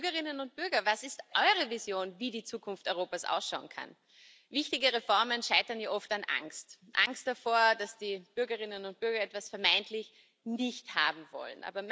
Und auch an die Bürgerinnen und Bürger Was ist eure Vision, wie die Zukunft Europas ausschauen kann? Wichtige Reformen scheitern ja oft an Angst Angst davor, dass die Bürgerinnen und Bürger etwas vermeintlich nicht haben wollen.